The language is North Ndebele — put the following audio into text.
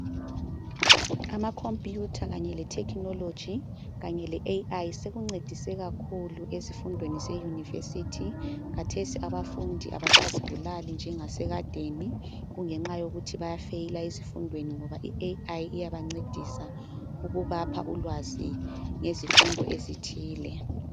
Amakhompuyutha kanye letechnology kanye le AI sekuncedise kakhulu ezifundweni zeuniversity. Khathesi abafundi abasazibulali njengasekadeni kungenxa yokuthi bayafeyila ezifundweni ngoba iAI iyabancedisa ukubapha ulwazi ngezifundo ezithile.